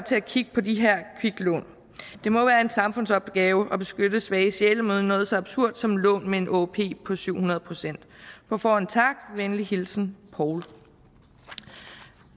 til at kigge på de her kviklån det må være en samfundsopgave at beskytte svage sjæle mod noget så absurd som lån med en åop på syv hundrede procent på forhånd tak venlig hilsen poul